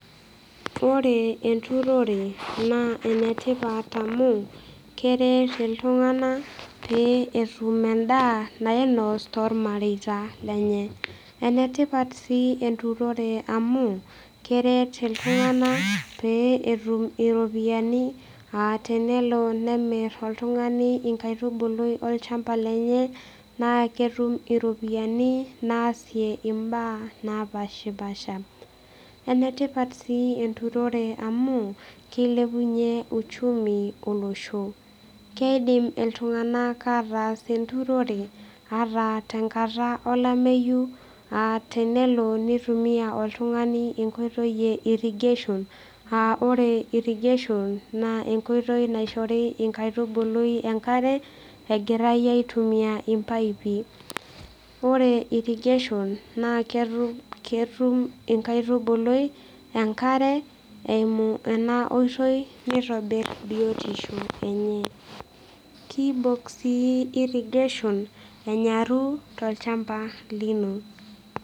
Ore enturore naa enetipat amu keret iltung'anak pee etum endaa nainos toormareita lenye . Enetipat sii enturore amu keret iltunganak pee etum iropiyiani aa tenebo nemir oltungani nkaitubulu olchamba lenye naa ketum iropiyiani naasie imbaa napashpasha . Enetipat sii enturore amu kilepunyie uchumi olosho. Keidim iltung'anak ataas enturore ata tenkata olameyu aa tenelo nitumia oltungani enkoitoi eirrigation aa ore irrigation naa enkoitoi naishori nkaitubului enkare egirae aitumia impaipi. Ore irrigation naa ketum ketum enkaitubului enkare eimu ena oitoi nitobir biotisho enye . Kibok sii irrigation enyaru tolchamba lino.